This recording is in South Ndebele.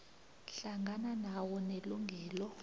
hlangana nawo nelungelo